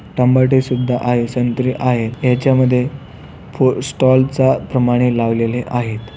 टमाटे सुद्धा आहे संत्रे आहे ह्याच्यामध्ये स्टॉल चा प्रमाणे लावलेले आहेत.